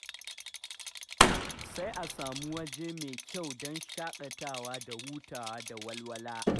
Sai a samu waje mai kyau don shaƙatawa da hutawa da walwala.